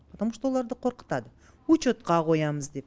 потому что оларды қорқытады учетқа қоямыз деп